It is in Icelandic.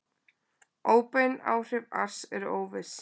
Óbein áhrif ars eru óviss.